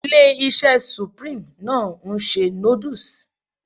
Ilé-iṣẹ́ supreme náà ń ṣe noodles